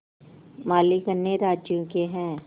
मालिक अन्य राज्यों के हैं